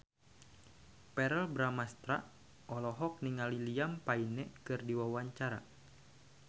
Verrell Bramastra olohok ningali Liam Payne keur diwawancara